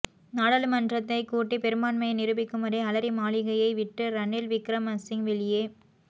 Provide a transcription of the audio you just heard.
நாடாளுமன்றத்தைக் கூட்டி பெரும்பான்மையை நிரூபிக்கும்வரை அலரி மாளிகையை விட்டு ரணில் விக்ரமசிங்க வெளியே